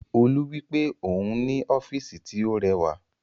Olú wípé òhun ní ọ́físì tí ó rẹwà